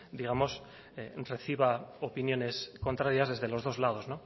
digamos reciba opiniones contrarias desde los dos lados